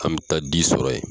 An bɛ taa di sɔrɔ yen